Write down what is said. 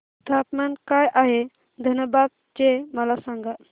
तापमान काय आहे धनबाद चे मला सांगा